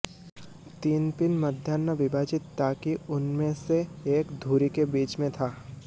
तीन पिन मध्याह्न विभाजित ताकि उनमें से एक धुरी के बीच में था